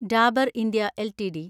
Dabur India LTD